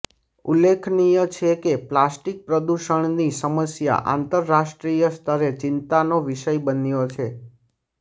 ઉલ્લેખનીય છે કે પ્લાસ્ટિક પ્રદૂષણની સમસ્યા આંતરરાષ્ટ્રીય સ્તરે ચિંતાનો વિષય બન્યો છે